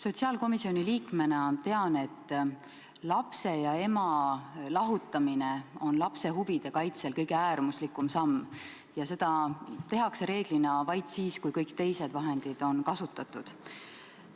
Sotsiaalkomisjoni liikmena tean, et lapse ja ema lahutamine on lapse huvide kaitsel kõige äärmuslikum samm ning seda tehakse reeglina vaid siis, kui kõiki teisi vahendeid on juba kasutatud.